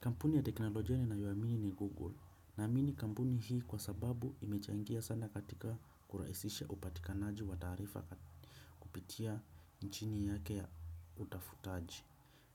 Kampuni ya teknolojia ninayoiamini ni Google naamini kampuni hii kwa sababu imechangia sana katika kurahisisha upatikanaji wa taarifa kupitia nchini yake ya utafutaji.